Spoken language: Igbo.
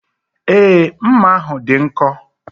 Èé, mma ahụ dị nkọ.